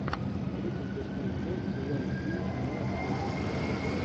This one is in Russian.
тридцать восьмая часть сезона один кино сотня